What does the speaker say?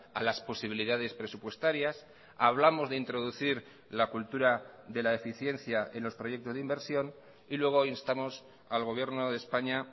a las posibilidades presupuestarias hablamos de introducir la cultura de la eficiencia en los proyectos de inversión y luego instamos al gobierno de españa